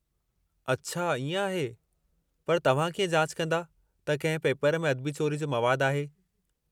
अच्छा इएं आहे! पर तव्हां कीअं जाच कंदा त कंहिं पेपर में अदबी चोरी जो मवादु आहे?